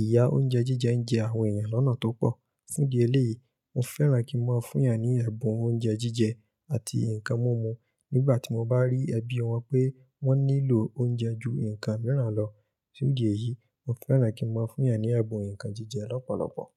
ìyá oúnjẹ jíjẹ ń jẹ àwọn èèyàn lọ́nà tó pọ̀. Fún ìdí eléyìí, mo fẹ́ràn kí n máa fún èèyàn ní ẹ̀bùn oúnjẹ jíjẹ àti nǹkan múmu nígbà tí mo bá rí ẹbí wọn pé wọ́n nílò oúnjẹ ju nǹkan mìíràn lọ. Fún ìdí èyí, mo fẹ́ràn kí n máa fún èèyàn ní ẹ̀bùn nǹkan jíjẹ lọ́pọ̀lọpọ̀